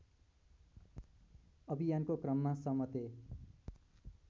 अभियानको क्रममा समते